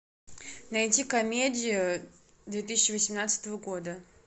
найди комедию две тысячи восемнадцатого года